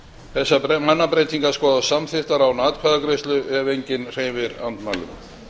þessar mannabreytingar skoðast samþykktar án atkvæðagreiðslu ef enginn hreyfir andmælum